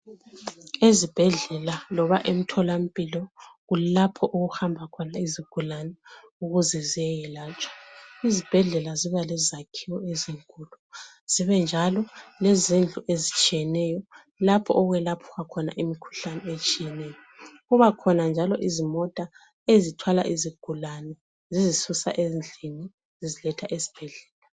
Ezibhedlela loba emtholampilo kulapho okuhamba khona izigulane ukuze ziyeyelatshwa. Izibhedlela ziba lezakhiwo ezinkulu zibe njalo, lezindlu ezitshiyeneyo lapho okwelatshwa khona imikhuhlane etshiyeneyo. Kubakhona njalo izimota ezithwala izigulane zizisusa ezindlini ziziletha esibhedlela.